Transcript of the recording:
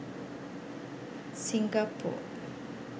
singapore